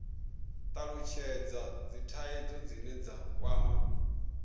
talutshhedza dzithaidzo dzine dza kwama